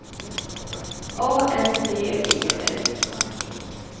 A N D E L